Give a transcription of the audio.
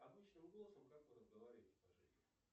обычным голосом